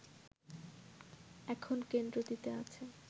এখন কেন্দ্রটিতে আছে